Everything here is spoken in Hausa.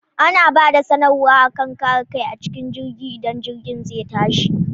Ana bada sanar wa akan kare kai acikin jirgi idan jirgin zai tashi